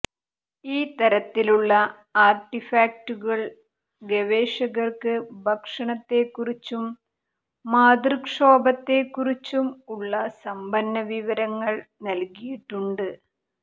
ഈ തരത്തിലുള്ള ആർട്ടിഫാക്ടുകൾ ഗവേഷകർക്ക് ഭക്ഷണത്തെക്കുറിച്ചും മാതൃക്ഷോഭത്തെക്കുറിച്ചും ഉള്ള സമ്പന്ന വിവരങ്ങൾ നൽകിയിട്ടുണ്ട്